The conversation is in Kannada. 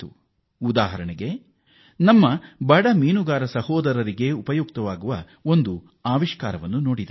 ಒಂದು ಉದಾಹರಣೆಯನ್ನು ನೀಡುವುದಾದರೆ ನಮ್ಮ ಬಡ ಮೀನುಗಾರ ಸೋದರರಿಗಾಗಿ ಒಂದು ಆವಿಷ್ಕಾರ ನೋಡಿದೆ